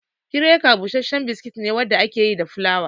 Kiraka bushashshen biskit ne wanda aka yi da fulawa.